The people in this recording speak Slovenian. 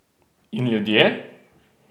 In ljudje?